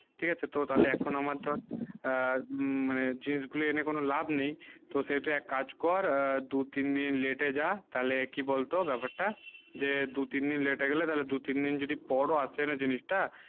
ঠিক আছে তো তালে এখন আমার ধর জিনিস গুলু এনে কোনো লাভ নেই তো সেই তুই এক কাজ কর দুই তিন দিন late এ জা তালে কি বল তো ব্যাপার তা যে দুই তিন late এ গেলে তালে দুই তিন যদি পরও আসে না জিনিস টা